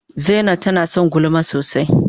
Zaina tana son gulma sosai.